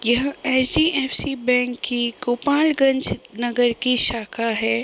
यह ऐसी C. F. C. Bank की गोपालगंज नगर की शाखा है।